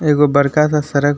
एगो बड़का सा सरक --